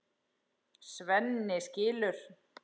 Svenni skilur.